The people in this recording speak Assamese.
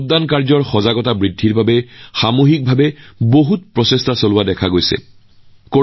ভোটাৰৰ মাজত সজাগতা বৃদ্ধিৰ বাবে সম্প্ৰদায় পৰ্যায়ত বহু প্ৰচেষ্টা চলোৱা হৈছে বুলিও মই আনন্দিত হৈছো